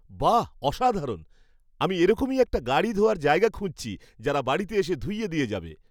বাহ অসাধারণ! আমি এরকমই একটা গাড়ি ধোয়ার জায়গা খুঁজছি যারা বাড়িতে এসে ধুইয়ে দিয়ে যাবে।